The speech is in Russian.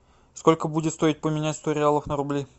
сколько будет стоить поменять сто реалов на рубли